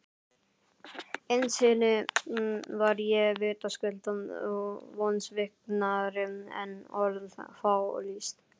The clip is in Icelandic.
Innst inni var ég vitaskuld vonsviknari en orð fá lýst.